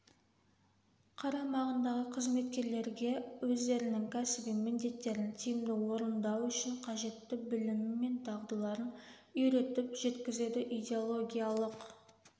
қарамағындағы қызметкерлерге өздерінің кәсіби міндеттерін тиімді орындау үшін қажетті білімі мен дағдыларын үйретіп жеткізеді идеологиялық